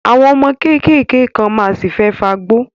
Àwọn ọmọ kéékèèké kan ma ṣì fẹ́ fagbó